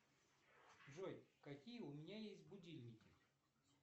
джой какие у меня есть будильники